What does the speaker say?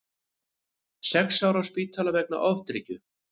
Sex ára á spítala vegna ofdrykkju